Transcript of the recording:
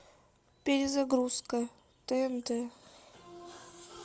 перезагрузка тнт